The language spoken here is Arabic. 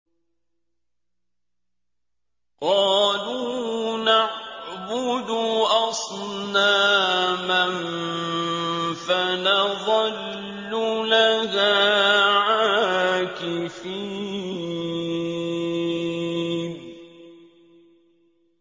قَالُوا نَعْبُدُ أَصْنَامًا فَنَظَلُّ لَهَا عَاكِفِينَ